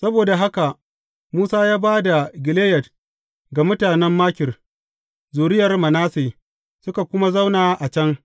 Saboda haka Musa ya ba da Gileyad ga mutanen Makir, zuriyar Manasse, suka kuma zauna a can.